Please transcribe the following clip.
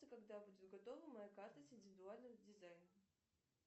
когда будет готова моя карта с индивидуальным дизайном